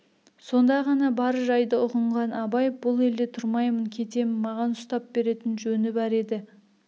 сонда ғана бар жайды ұғынған абай бұл елде тұрмаймын кетем маған ұстап беретін жөні бар еді